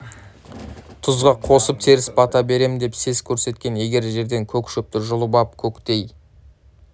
тұзға қосып теріс бата берем деп сес көрсеткен егер жерден көк шөпті жұлып ап көктей